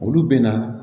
Olu bɛ na